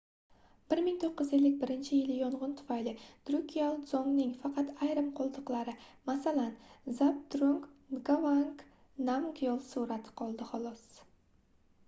1951-yili yongʻin tufayli drukgyal dzongning faqat ayrim qoldiqlari masalan zabdrung ngavang namgyal surati qoldi xolos